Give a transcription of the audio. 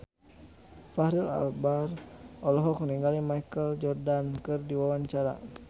Fachri Albar olohok ningali Michael Jordan keur diwawancara